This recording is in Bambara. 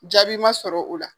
Jaabi ma sɔrɔ o la.